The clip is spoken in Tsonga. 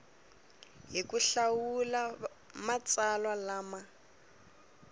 hi ku hlawula matsalwa lama